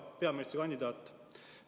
Hea peaministrikandidaat!